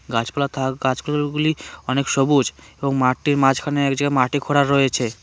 গাছপালা থাক গাছপালাগুলি অনেক সবুজ এবং মাঠটির মাঝখানে এক জায়গায় মাটি খোড়া রয়েছে।